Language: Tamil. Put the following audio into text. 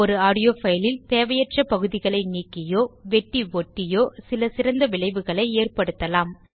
ஒரு ஆடியோ fileல் தேவையற்ற பகுதிகளை நீக்கியோ வெட்டி ஒட்டியோ சில சிறந்த விளைவுகளை ஏற்படுத்தலாம்